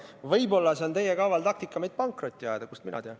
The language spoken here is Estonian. Võib-olla see on teie kaval taktika meid pankrotti ajada, kust mina tean.